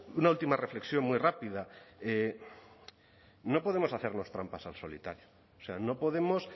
una última reflexión muy rápida no podemos hacernos trampas al solitario o sea no podemos